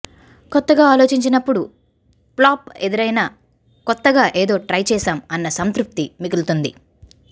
కొత్తగా ఆలోచించినప్పుడు ఫ్లాప్ ఎదురైనా కొత్తగా ఏదో ట్రై చేశాం అన్న సంతృప్తి మిగులుతుంది